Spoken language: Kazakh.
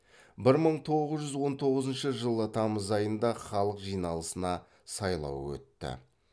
бір мың тоғыз жүз он тоғызыншы жылы тамыз айында халық жиналысына сайлау өтті